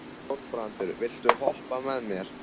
Þorbrandur, viltu hoppa með mér?